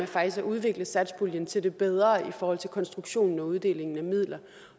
faktisk har udviklet satspuljen til det bedre i forhold til konstruktionen og uddelingen af midler